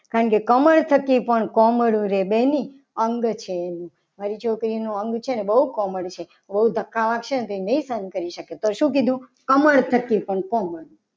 કારણ કે કમર થકી પણ અંગ છે મારી છોકરીનું અંગ છે. ને બહુ કોમળ છે. એને ધક્કા વાગશે તો નહીં સહન કરી શકે. તો શું કીધું કમળ થકી કોમળ